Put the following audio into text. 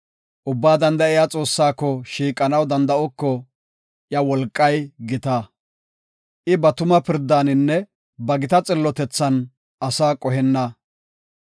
Ubbaa Danda7iya Xoossaako shiiqanaw danda7oko; iya wolqay gita. I ba tuma pirdaaninne ba gita xillotethan ase qohenna.